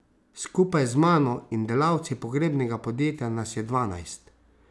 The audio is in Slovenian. Skupaj z mano in delavci pogrebnega podjetja nas je dvanajst.